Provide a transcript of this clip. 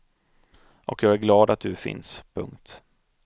Och jag är glad att du finns. punkt